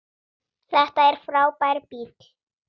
Þetta er frábær bíll.